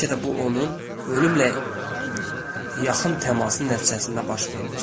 Bəlkə də bu onun ölümlə yaxın təmasın nəticəsində baş vermişdi.